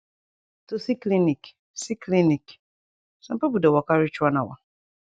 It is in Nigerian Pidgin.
to see clinic see clinic sum pipu dey waka reach one hour